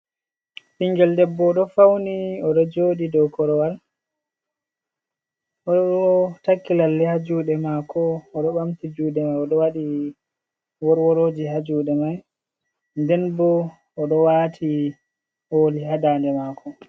Ɓingel debbo o ɗo fauni oɗo jodi dow korowal oɗo takki lalle ha juɗe mako o ɗo bamti juɗe mai o ɗo waɗi worworoji ha juɗe mai nden bo oɗo wati oldi ha dande mako.